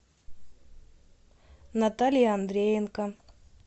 наталья андреенко